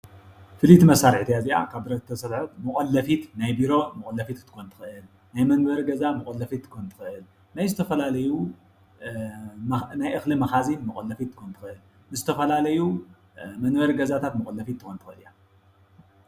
ፍልይቲ መሳሪሒት እያ እዚኣ ካብ ብረት ዝተሰረሐት መቆለፊት ናይ ቢሮ መቆለፊት ክትኮን ትኽእል ንመንበሪ ገዛ መቆለፊት ክትኮን ትኽእል፡፡ ናይ ዝተፈላለዩ ናይ እኽሊ መኻዚን ክትኮን ትኽእል፡፡ ንዝተፋላለዩ መንበሪ ገዛታት መቆለፊት ትኮን ትኽእል እያ፡፡